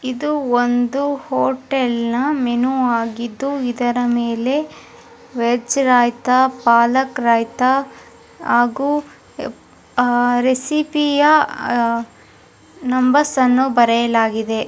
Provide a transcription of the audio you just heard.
ಇದು ಒಂದು ಹೋಟೆಲ್ನ ಮೆನು ಆಗಿದ್ದು ಇದರ ಮೇಲೆ ವೆಜ್ ರಾಯ್ತ ಪಾಲಕ್ ರಾಯ್ತ ಹಾಗೂ ಆಹ್ಹ್ ರೆಸಿಪಿ ಯ ಅಹ್ ನಂಬರ್ಸ್ ಅನ್ನು ಬರೆಯಲಾಗಿದೆ